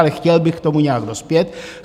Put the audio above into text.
Ale chtěl bych k tomu nějak dospět.